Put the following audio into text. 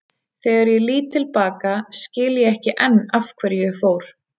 Þegar ég lít til baka skil ég ekki enn af hverju ég fór.